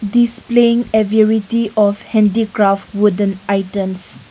Displaying ability of handicraft wooden items.